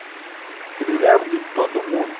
Eles ganhavam de todo mundo.